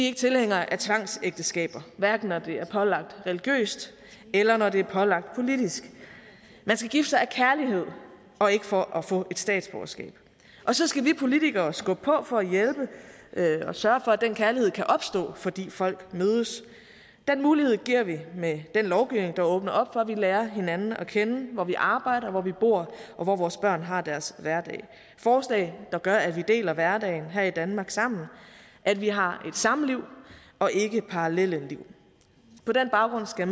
ikke tilhængere af tvangsægteskaber hverken når det er pålagt religiøst eller når det er pålagt politisk man skal gifte sig af kærlighed og ikke for at få et statsborgerskab og så skal vi politikere skubbe på for at hjælpe og sørge for at den kærlighed kan opstå fordi folk mødes den mulighed giver vi med den lovgivning der åbner op for at vi lærer hinanden at kende hvor vi arbejder hvor vi bor og hvor vores børn har deres hverdag forslag der gør at vi deler hverdagen her i danmark sammen at vi har et samliv og ikke parallelle liv på den baggrund skal